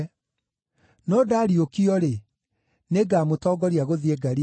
No ndariũkio-rĩ, nĩngamũtongoria gũthiĩ Galili.”